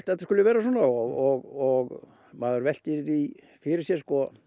þetta skuli vera svona og maður veltir því fyrir sér